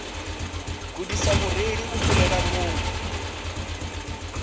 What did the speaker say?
kundisa mureili u fhirela vhuṅwe